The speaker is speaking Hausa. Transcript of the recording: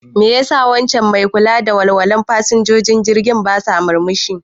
Mai ya sa waccan mai kula da walwalan fasinjojin jirgi bata murmushi?